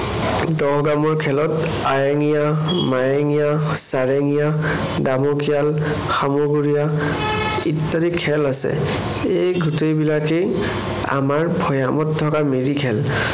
দহ গামৰ খেলত আয়েঙিয়া, মায়েঙিয়া, চাৰেঙিয়া, দামুকিয়াল, শামুগুৰিয়া ইত্যাদি খেল আছে। এই গোটেই বিলাকেই আমাৰ ভৈয়ামত থকা মিৰি খেল।